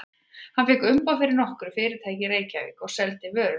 Hann fékk umboð fyrir nokkur fyrirtæki í Reykjavík og seldi vörur þeirra.